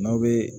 N'aw bɛ